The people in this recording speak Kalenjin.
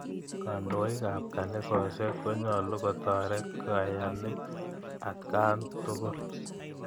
Kandoik ap kanisosyek konyolu kotoret kayanik atkaan tukul.